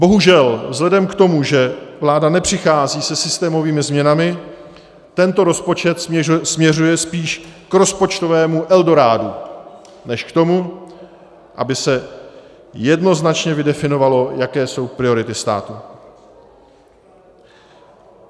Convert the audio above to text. Bohužel, vzhledem k tomu, že vláda nepřichází se systémovými změnami, tento rozpočet směřuje spíš k rozpočtovému eldorádu než k tomu, aby se jednoznačně vydefinovalo, jaké jsou priority státu.